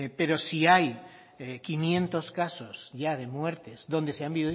pero si hay quinientos casos ya de muertes donde se han